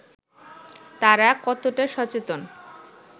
তারা কতটা সচেতন